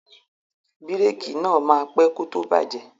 Bírèèkì náà máa pẹ́ kó tó bàjẹ́.